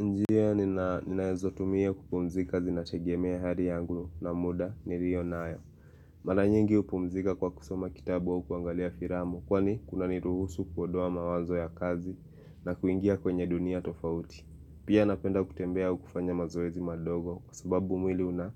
Njia ninazotumia kupumzika zinategemea hali yangu na muda niliyo nayo. Mara nyingi hupumzika kwa kusoma kitabu au kuangalia filamu. Kwani kuna niruhusu kuondoa mawazo ya kazi na kuingia kwenye dunia tofauti. Pia napenda kutembea au kufanya mazoezi madogo kwa sababu mwili una